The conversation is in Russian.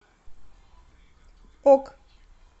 ок